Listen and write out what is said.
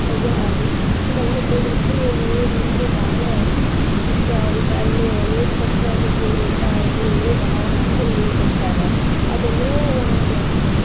ಯಾ~ ಸಣ್ಣ ಮಕ್ಳಿಗಂರ್ತು ನೀರ್ ಅಂದ್ರ ಬಾಳ ಇಸ್ಟಾ ಅವ್ರೀಗ ಅಲ್ಲೆ ನೀರ್ ಕೊಟ್ರ ಅಲ್ಲೆಏನು ಊಟ ಇದು ಏನು ಬೇಡ ಅವ್ರ ಆಡ್ಕೋಂತ ನಿಂತಬಿಡ್ತಾರಾ ಅದೇನೋ ಒಂದ್.